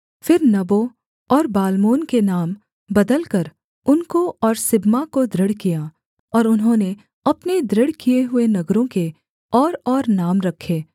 फिर नबो और बालमोन के नाम बदलकर उनको और सिबमा को दृढ़ किया और उन्होंने अपने दृढ़ किए हुए नगरों के औरऔर नाम रखे